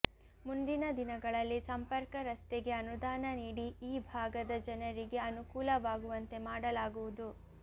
ಮುಂದಿನ ದಿನಗಳಲ್ಲಿ ಸಂಪರ್ಕ ರಸ್ತೆಗೆ ಅನುದಾನ ನೀಡಿ ಈ ಭಾಗದ ಜನರಿಗೆ ಅನುಕೂಲವಾಗುವಂತೆ ಮಾಡಲಾಗುವುದು